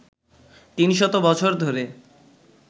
তিনশত বছর ধরে